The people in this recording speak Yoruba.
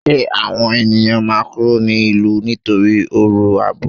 Ṣé àwọn ènìyàn máa kúrò ní ìlú nítorí ọ̀rọ̀ àbò?